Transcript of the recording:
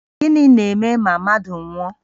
Gịnị na-eme ma mmadụ nwụọ?